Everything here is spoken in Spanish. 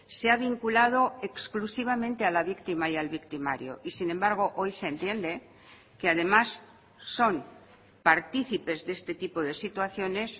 se ha vinculado exclusivamente a la víctima y al victimario y sin embargo hoy se entiende que además son participes de este tipo de situaciones